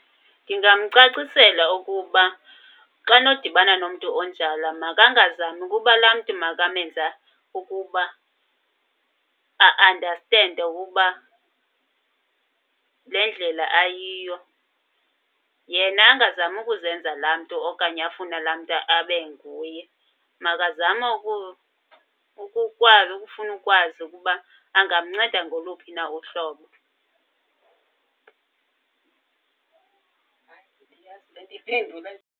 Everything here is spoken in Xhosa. Ndingamcacisela ukuba xa nodibana nomntu onjalo makangazami ukuba laa mntu makamenze ukuba a-andastende ukuba le ndlela ayiyo. Yena angazami ukuzenza laa mntu okanye afune laa mntu abe nguye. Makazame ukukwazi, ukufuna ukwazi ukuba angamnceda ngoluphi na uhlobo .